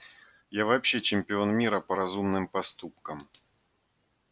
я вообще чемпион мира по разумным поступкам